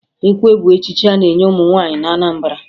Ekwe bụ echichi a na-enye ụmụ nwaanyị na Anambara